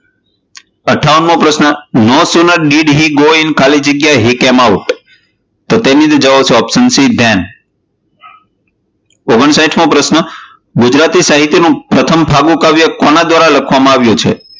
અઠ્ઠાવન મો પ્રશ્ન no sooner did he go in ખાલી જગ્યા he came out તો તેની અંદર જવાબ આવશે option c then. ઓગણપચાસ મો પ્રશ્ન ગુજરાતી સાહિત્ય માં પ્રથમ ફાગુ કાવ્ય કોના દ્વારા લખવામાં આવ્યું છે?